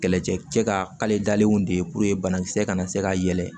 Kɛlɛcɛ cɛ kaledalenw de banakisɛ kana se ka yɛlɛ